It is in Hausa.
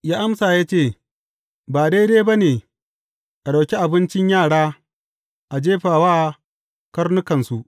Ya amsa ya ce, Ba daidai ba ne a ɗauki abincin yara a jefa wa karnukansu.